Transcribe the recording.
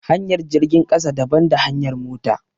Hanyar jirgin ƙasa daban da hanyar mota